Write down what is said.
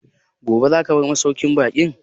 Gobe za ka bar masauƙin baƙin?